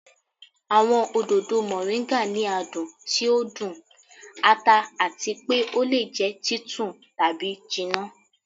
Awọn ododo Moringa ni adun ti o dun, ata ati pe o le jẹ titun tabi jinna.